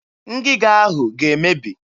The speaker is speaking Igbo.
Ngịga ahụ ga-emebi.